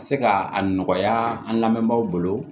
Ka se ka a nɔgɔya an lamɛnbagaw bolo